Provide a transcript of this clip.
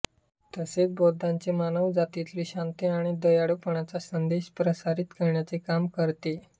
तसेच बुद्धांचा मानवजातीतील शांती आणि दयाळूपणाचा संदेश प्रसारित करण्याचे काम करते